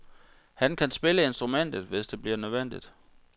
Han kan spille instrumentet, hvis det bliver nødvendigt.